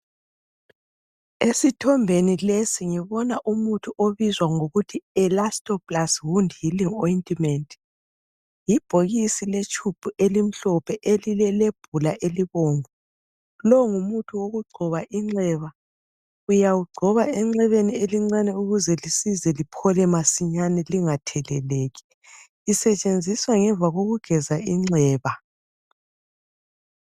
Esithombeni lesi ngibona umuthi obizwa ngokuthi yielastoplast healing wound ointment. Yibhokisi letshubhu elimhlophe elilelebhula elibomvu. Lo ngumuthi wokugcoba inxeba uyawugcoba enxebeni elincane ukuze lisize liphole masinyane lingatheleleki, usetshenziswa ngemva kokugeza inxeba.